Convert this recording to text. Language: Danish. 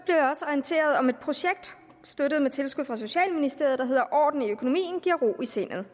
orienteret om et projekt støttet med tilskud fra socialministeriet der hedder orden i økonomien giver ro i sindet